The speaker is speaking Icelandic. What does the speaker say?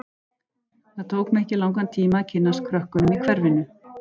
Það tók mig ekki langan tíma að kynnast krökkunum í hverfinu.